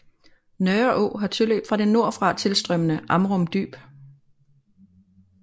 Nørreå har tilløb fra det nordfra tilstrømmende Amrum Dyb